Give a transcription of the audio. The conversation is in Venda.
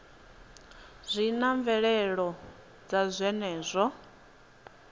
zwi na mvelelo dza zwenezwo